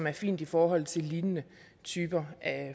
er fint i forhold til lignende typer